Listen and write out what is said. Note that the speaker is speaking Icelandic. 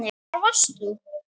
Hvar varst þú???